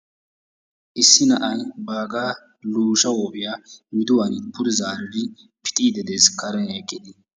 Issi na'ay baagaa luyshsha huuphphiyaa pude zaari pixiidi de'ees. Karen eqqidi